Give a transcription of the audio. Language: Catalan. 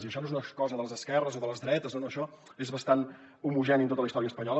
i això no és una cosa de les esquerres o de les dretes no no això és bastant homogeni en tota la història espanyola